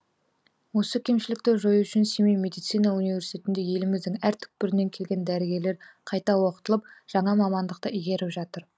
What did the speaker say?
осы кемшілікті жою үшін семей медицина университетінде еліміздің әр түкпірінен келген дәрігерлер қайта оқытылып жаңа мамандықты игеріп жатыр